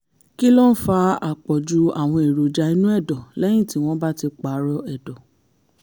kí ló ń fa àpọ̀jù àwọn èròjà inú ẹ̀dọ̀ lẹ́yìn tí wọ́n bá ti pààrọ̀ ẹ̀dọ̀?